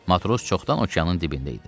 Matros çoxdan okeanın dibində idi.